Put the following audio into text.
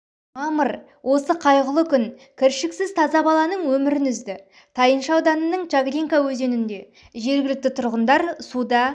мамыр осы қайғылы күн кіршіксіз таза баланың өмірін үзді тайынша ауданының чаглинка өзенінде жергілкті тұрғындар суда